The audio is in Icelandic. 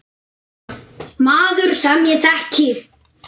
Maður, sem ég þekki.